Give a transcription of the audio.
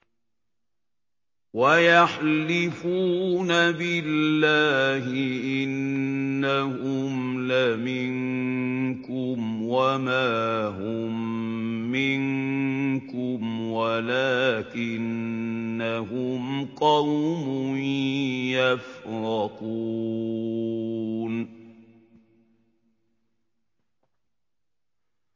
وَيَحْلِفُونَ بِاللَّهِ إِنَّهُمْ لَمِنكُمْ وَمَا هُم مِّنكُمْ وَلَٰكِنَّهُمْ قَوْمٌ يَفْرَقُونَ